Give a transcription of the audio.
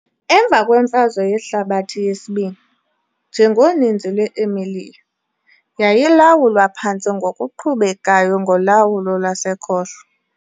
Emva kweMfazwe Yehlabathi yesiBini, njengoninzi lwe-Emilia, yayilawulwa phantse ngokuqhubekayo ngolawulo lwasekhohlo .